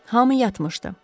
Hamı yatmışdı.